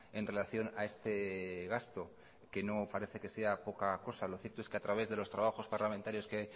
en relación a este gasto que no parece que sea poca cosa lo cierto es que a través de los trabajos parlamentarios que